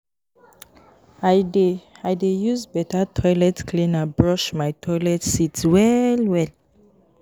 I dey i dey use beta toilet cleaner brush my toilet seat well-well.